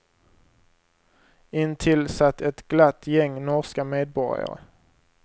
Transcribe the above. Intill satt ett glatt gäng norska medborgare.